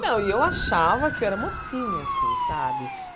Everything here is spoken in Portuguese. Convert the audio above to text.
Não, e eu achava que eu era mocinha assim, sabe?